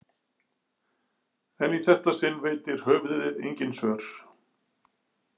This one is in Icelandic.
En í þetta sinn veitir höfuðið engin svör.